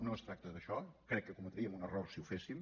no es tracta d’això crec que cometríem un error si ho féssim